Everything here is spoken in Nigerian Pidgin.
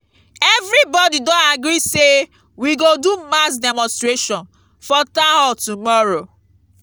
everybody don agree say we go do mass demonstration for town hall tomorrow